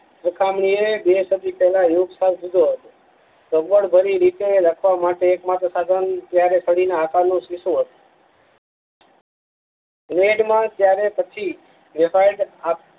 એ બે સદી પેલા યોગ લીધો હત લખવા માટે એક માત્ર સાધન ત્યારે છવિના આકાર નું સીષું હતુ લેડ માં ત્યારે પછી